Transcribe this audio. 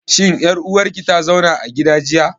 Shin ƴar uwar ki ta zauna a gida jiya?